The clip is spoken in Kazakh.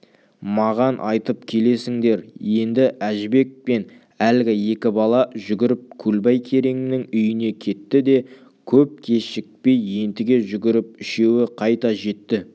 маған айтып келесіңдер енді әжібек пен әлгі екі бала жүгіріп көлбай кереңнің үйіне кетті де көп кешікпей ентіге жүгіріп үшеуі қайта жетті